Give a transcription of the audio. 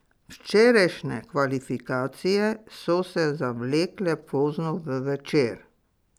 Včerajšnje kvalifikacije so se zavlekle pozno v večer.